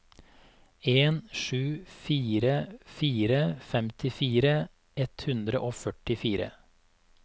en sju fire fire femtifire ett hundre og førtifire